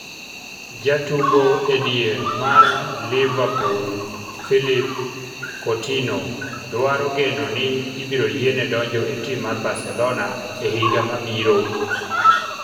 Jatugo edier mar Liverpool Philippe Coutinho dwaro geno ni ibiro yiene donjo e tim mar Barcelona e higa mabiro.